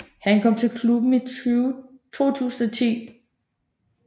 Han kom til klubben i 2010